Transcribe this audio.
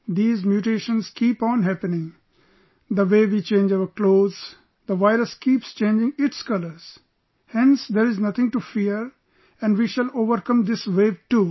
These mutations keep on happening...the way we change our clothes, the virus keeps changing its colours...hence there is nothing to fear and we shall overcome this wave too